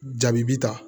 Jaabi bi ta